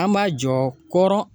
An m'a jɔ kɔrɔn